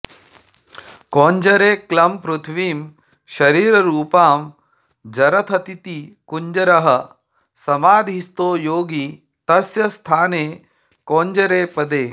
कौञ्जरे क्लं पृथिवीं शरीररूपां जरथतीति कुञ्जरः समाधिस्थो योगी तस्य स्थाने कौञ्जरे पदे